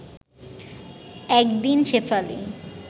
এক দিন শেফালি